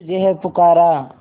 तुझे है पुकारा